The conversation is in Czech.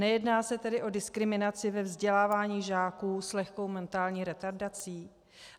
Nejedná se tedy o diskriminaci ve vzdělávání žáků s lehkou mentální retardací?